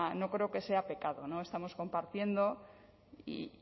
no creo que sea pecado no estamos compartiendo y